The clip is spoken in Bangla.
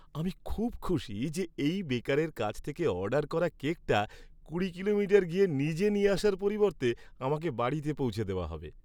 আমি খুব খুশি যে এই বেকারের কাছ থেকে অর্ডার করা কেকটা কুড়ি কিলোমিটার গিয়ে নিজে নিয়ে আসার পরিবর্তে আমাকে বাড়িতে পৌঁছে দেওয়া হবে।